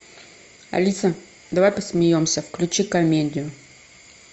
алиса давай посмеемся включи комедию